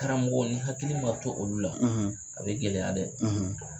Karamɔgɔ ni hakili ma to olu la, a bɛ gɛlɛya dɛ!